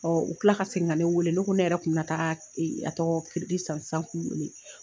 Ɔ u tila ka segin ka ne wele ne ko ne yɛrɛ tun bɛna taa a tɔgɔ sisan k'u wele